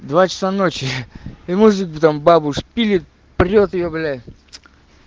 два часа ночи и может быть там бабу шпилек прилёты блять